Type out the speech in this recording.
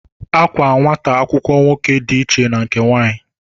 Àkwá nwata akwụkwọ nwoke dị iche na nke nwanyị